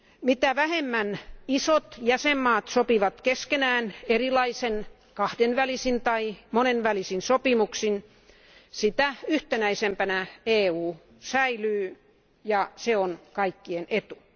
Mitä vähemmän isot jäsenvaltiot sopivat keskenään erilaisin kahdenvälisin tai monenvälisin sopimuksin, sitä yhtenäisempänä EU säilyy ja se on kaikkien etu.